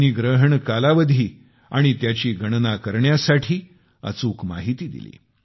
त्यांनी ग्रहण कालावधी आणि त्याची गणना करण्यासाठी अचूक माहिती दिली